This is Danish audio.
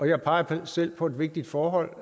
jeg peger selv på et vigtigt forhold